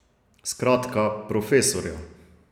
Skratka, profesorja.